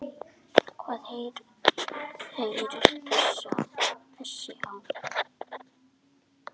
Hvað heitir þessi á?